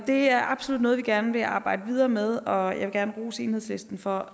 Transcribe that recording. det er absolut noget vi gerne vil arbejde videre med og jeg vil gerne rose enhedslisten for